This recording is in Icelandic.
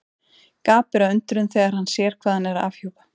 Gapir af undrun þegar hann sér hvað hann er að afhjúpa.